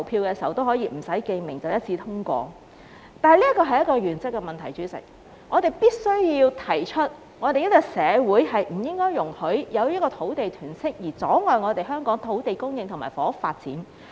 但是，代理主席，這是原則問題，我們必須提出香港社會不應容許因土地囤積而阻礙香港土地供應和房屋發展。